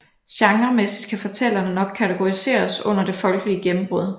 Genremæssigt kan fortællingerne nok kategoriseres under Det Folkelige Gennembrud